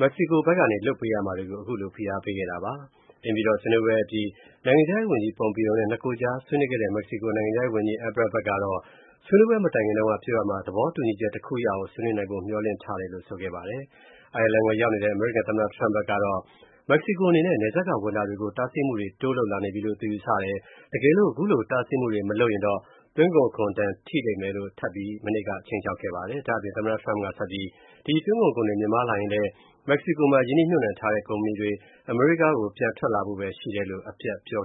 မက္ကဆီကို ဘက်ကနေ လုပ်ပေးရမှာတွေကို ခုလိုဖိအားပေးခဲ့တာပါ။ အိမ်ဖြူတော်ဆွေးနွေးပွဲအပြီး နိုင်ငံခြားရေးဝန်ကြီး Pompeo နဲ့ နှစ်ကိုယ်ကြားဆွေးနွေးခဲ့တဲ့ မက္ကဆီကို နိုင်ငံခြားရေးဝန်ကြီး Ebrard ဖက်ကတော့ ဆွေးနွေးပွဲမတိုင်ခင်တုံးက ပြောရာမှာ သဘောတူချက် တခုရအောင် ဆွေးနွေးနိုင်ဖို့ မျှော်လင့်ခဲ့တယ်လို့ ဆိုခဲ့ပါတယ်။ အိုင်ယာလန်ကို ရောက်နေတဲ့ အမေရိကန် သမ္မတ Trump ဘက်ကတော့ မက္ကဆီကို အနေနဲ့ နယ်စပ်က ဝင်တာတွေကို တားဆီးမူတွေ တိုးလုပ်လာနေပြီလို့ ယူဆတယ်၊ တကယ်လို့ ခုလို မတားဆီးရင် သွင်းကုန်ခွန် ဒဏ်ထိလိမ့်မယ်လို့ ထပ်မံခြိမ်းခြောက်လိုက်ပါတယ်။ ဒါ့အပြင် သမ္မတ Trump က ဆက်ပြီး ဒီ သွင်းကုန်ခွန်တွေ မြင့်မားလာရင်လည်း မက္ကဆီကိုမှာ ရင်းနှီးမြုပ်နှံထားတဲ့ ကုမ္ပဏီတွေ အမေရိကန်ကို ပြန်ထွက်လာဖို့ပဲ ရှိတယ်လို့ အပြတ်ပြော